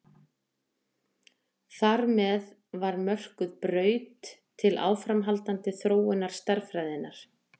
Þar með var mörkuð braut til áframhaldandi þróunar stærðfræðinnar.